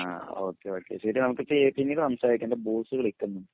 ആഹ് okay okay ശെരി നമുക്ക് പിന്നീട് സംസാരിക്കാം എൻ്റെ ബോസ് വിളിക്കുന്നു